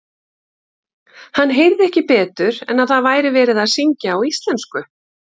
Hann heyrði ekki betur en að það væri verið að syngja á íslensku.